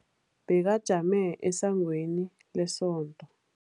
Bekajame esangweni lesonto.